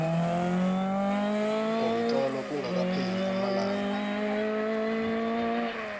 ngomtlolo kungakapheli amalanga